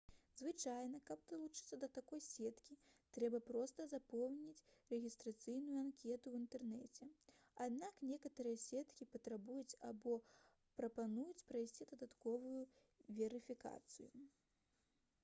звычайна каб далучыцца да такой сеткі трэба проста запоўніць рэгістрацыйную анкету ў інтэрнэце аднак некаторыя сеткі патрабуюць або прапануюць прайсці дадатковую верыфікацыю